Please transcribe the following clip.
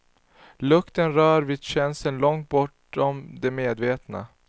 Lukten rör vid känslor långt bortom det medvetna.